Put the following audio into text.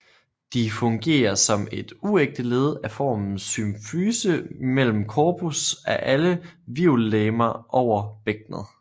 De fungerer som et uægte led af formen symfyse imellem corpus af alle hvirvellegemer over bækkenet